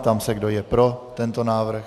Ptám se, kdo je pro tento návrh.